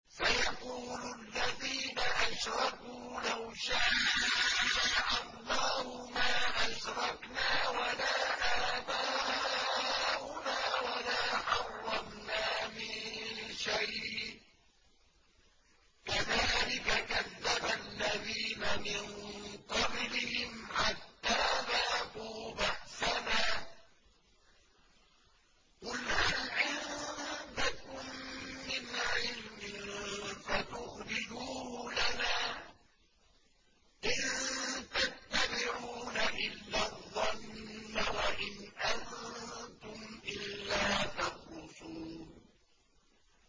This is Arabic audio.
سَيَقُولُ الَّذِينَ أَشْرَكُوا لَوْ شَاءَ اللَّهُ مَا أَشْرَكْنَا وَلَا آبَاؤُنَا وَلَا حَرَّمْنَا مِن شَيْءٍ ۚ كَذَٰلِكَ كَذَّبَ الَّذِينَ مِن قَبْلِهِمْ حَتَّىٰ ذَاقُوا بَأْسَنَا ۗ قُلْ هَلْ عِندَكُم مِّنْ عِلْمٍ فَتُخْرِجُوهُ لَنَا ۖ إِن تَتَّبِعُونَ إِلَّا الظَّنَّ وَإِنْ أَنتُمْ إِلَّا تَخْرُصُونَ